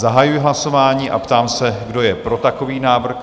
Zahajuji hlasování a ptám se, kdo je pro takový návrh?